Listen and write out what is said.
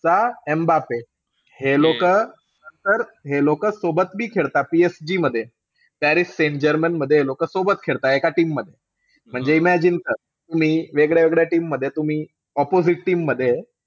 चा एम्बाप्पे. हे लोक तर, हे लोक सोबत बी खेळता PSG मध्ये. पॅरिस सेंट जर्मेनमध्ये हे लोक सोबत खेळता एका team मध्ये. म्हणजे imagine कर तुम्ही वेगळ्या-वेगळ्या team मध्ये तुम्ही, opposite team मध्ये आहे.